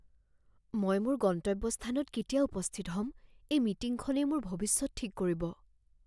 মই মোৰ গন্তব্যস্থানত কেতিয়া উপস্থিত হ'ম? এই মিটিংখনেই মোৰ ভৱিষ্যত ঠিক কৰিব